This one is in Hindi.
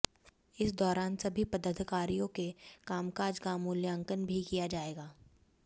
इस दौरान सभी पदाधिकारियों के कामकाज का मूल्यांकन भी किया जाएगा